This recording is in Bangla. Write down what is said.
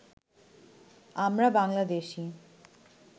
আমরা বাংলাদেশী